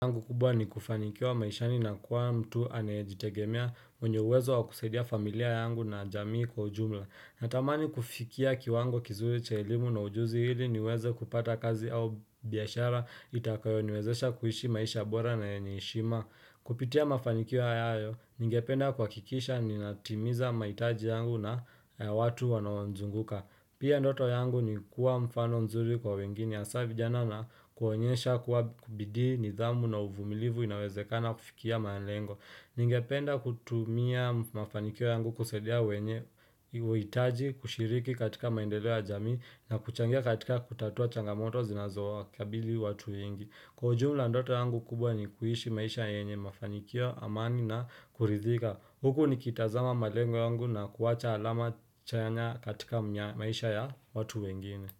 Angu kubwa ni kufanikiwa maishani na kuwa mtu anayejitegemea mwenye uwezo wa kusaidia familia yangu na jamii kwa ujumla. Natamani kufikia kiwango kizuri cha elimu na ujuzi ili niweze kupata kazi au biashara itakayo niwezesha kuishi maisha bora na yenye heshima. Kupitia mafanikio hayo, ningependa kuhakikisha ninatimiza mahitaji yangu na ya watu wanoanizunguka. Pia ndoto yangu ni kuwa mfano nzuri kwa wengine hasa vijana na kuwaonyesha kuwa bidii, nidhamu na uvumilivu inawezekana kufikia malengo. Ningependa kutumia mafanikio yangu kusaidia wenye uitaji kushiriki katika maendeleo ya jamii na kuchangia katika kutatua changamoto zinazo wakabili watu wengi. Kwa ujumla ndoto yangu kubwa ni kuishi maisha yenye mafanikio, amani na kuridhika. Huku nikitazama malengo yangu na kuacha alama chanya katika maisha ya watu wengine.